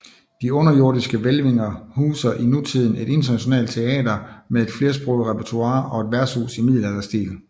De underjordiske hvælvinger huser i nutiden et internationalt teater med et flersproget repertoire og et værtshus i middelalderstil